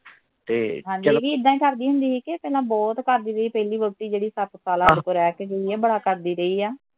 ਸਾਡੀ ਵੀ ਏਦਾ ਈ ਕਰਦੀ ਹੁੰਦੀ ਸੀ ਕਿ ਪਹਿਲਾਂ ਬਹੁਤ ਕਰਦੀ ਰਹੀ ਪਹਿਲੀ ਵਹੁਟੀ ਜਿਹਦੀ ਸਤ ਸਾਲ ਸਾਡੇ ਕੋਲ ਰਹਿ ਕੇ ਗਈ ਐ ਬੜਾ ਕਰਦੀ ਰਹੀ ਐ